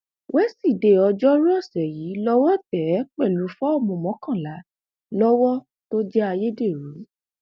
wíṣídẹẹ ọjọrùú ọsẹ yìí lọwọ tẹ ẹ pẹlú fọọmù mọkànlá lọwọ tó jẹ ayédèrú